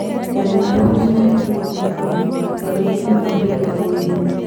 Ndagimaririo ndĩnaa miaka ikũmi na ĩmwe Wanjikũ kuuma Aburika nĩaugĩte